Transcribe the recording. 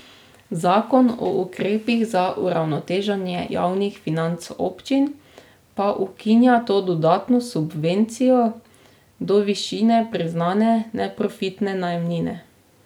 Zakon o ukrepih za uravnoteženje javnih financ občin pa ukinja to dodatno subvencijo do višine priznane neprofitne najemnine.